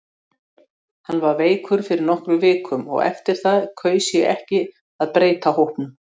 Hann var veikur fyrir nokkrum vikum og eftir það kaus ég ekki að breyta hópnum.